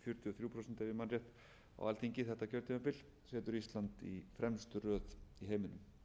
fjörutíu og þrjú prósent ef ég man rétt á alþingi þetta kjörtímabil setur ísland í fremstu röð í